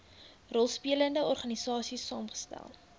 rolspelende organisaies saamgestel